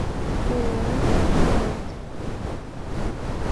ооо вита дент